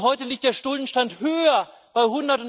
Und heute liegt der Schuldenstand höher bei